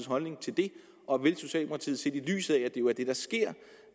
holdning til det og vil socialdemokratiet set i lyset af at det jo er det der sker